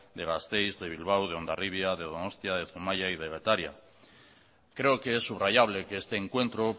de gasteiz de bilbao de hondarribia de donostia de zumaia y de getaria creo que es subrayable que este encuentro